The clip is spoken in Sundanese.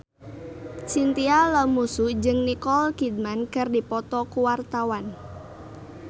Chintya Lamusu jeung Nicole Kidman keur dipoto ku wartawan